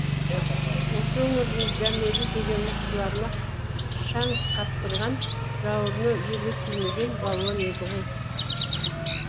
осы өңірдің дәмелі деген мықтыларына шаң қаптырған жауырыны жерге тимеген балуан еді ғой